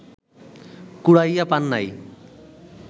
কুড়াইয়া পান নাই